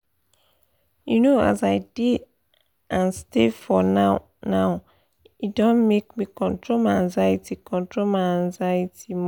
you know as i dey pause and stay for the now-now e don make me control my anxiety control my anxiety more.